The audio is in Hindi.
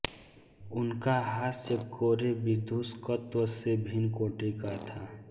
उनका हास्य कोरे विदूषकत्व से भिन्न कोटि का था